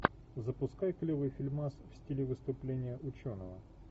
запускай клевый фильмас в стиле выступления ученого